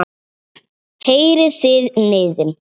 Heyrið þið niðinn?